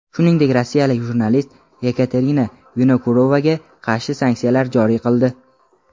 shuningdek rossiyalik jurnalist Yekaterina Vinokurovaga qarshi sanksiyalar joriy qildi.